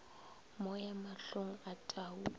moya mahlong a tau o